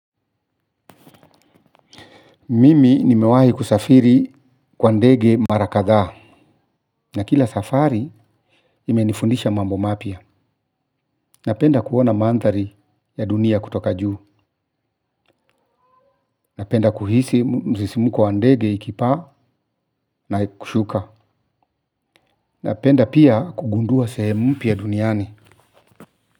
Mimi nimewahi kusafiri kwa ndege mara kadhaa. Na kila safari ime nifundisha mambo mapya. Napenda kuona mandhari ya dunia kutoka juu. Napenda kuhisi msisimko wa ndege ikipaa na kushuka. Napenda pia kugundua sehem mpya duniani.